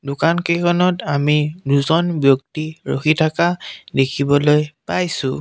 দোকান কেইখনত আমি দুজন ব্যক্তি ৰখি থকা দেখিবলৈ পাইছোঁ।